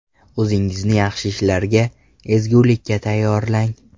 O‘zingizni yaxshi ishlarga, ezgulikka tayyorlang.